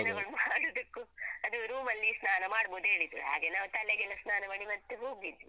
ಜನಗಳು ಮಾಡುದಕ್ಕೂ ಅದು room ಅಲ್ಲಿ ಸ್ನಾನ ಮಾಡ್ಬೋದ್ ಹೇಳಿದ್ರು ಹಾಗೆ ನಾವ್ ತಲೆಗೆಲ್ಲ ಸ್ನಾನ ಮಾಡಿ ಮತ್ತೆ ಹೋಗಿದ್ದು.